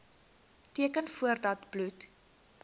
teken voordat bloed